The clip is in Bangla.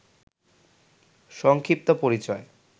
সংক্ষিপ্ত পরিচয়